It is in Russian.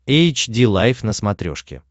эйч ди лайф на смотрешке